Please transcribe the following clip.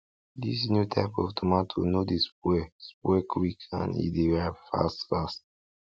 dis new type of tomato no dey spoil spoil quick and e dey ripe fast fast